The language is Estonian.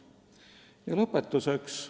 Ja lõpetuseks.